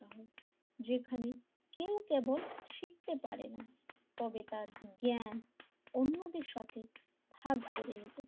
যেখানে কেউ কেবল শিখতে এবং শিখতে পারেনা তবে তার জ্ঞান অন্যদের সাথে ভাগ করে নিতে,